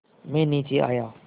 मैं नीचे आया